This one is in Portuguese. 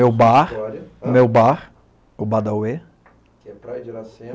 É o bar, o meu bar, o Badauê. Que é praia de Iracema